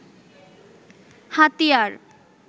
হাতিয়ার